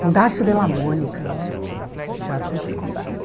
Com Darcio de la Mônica, há muito tempo, no Teatro Rute Escobar.